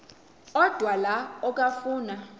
odwa la okafuna